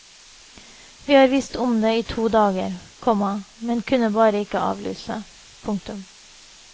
Vi har visst om det i to dager, komma men kunne bare ikke avlyse. punktum